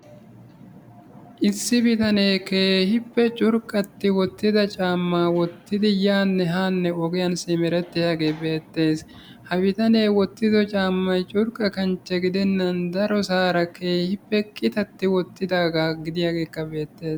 Issi bitanee keehippe curqqatti wottida caamma wottidi yaanne haanne ogiyan simerettiyaagee beettes. Ha bitanee wottido caammay curqqa kanchche gidennan darosaara keehippe qitatti wottidaaga gidiyaageekka beettes.